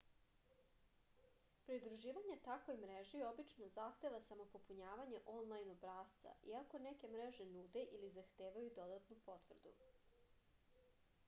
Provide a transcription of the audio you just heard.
pridruživanje takvoj mreži obično zahteva samo popunjavanje onlajn obrasca iako neke mreže nude ili zahtevaju dodatnu potvrdu